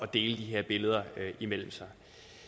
dele de her billeder imellem sig